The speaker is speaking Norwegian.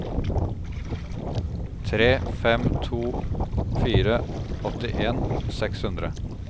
tre fem to fire åttien seks hundre